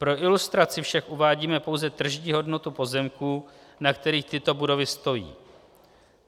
Pro ilustraci však uvádíme pouze tržní hodnotu pozemků, na kterých tyto budovy stojí.